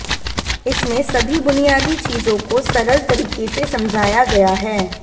इसमें सभी बुनियादी चीजों को सरल तरीके से समझाया गया है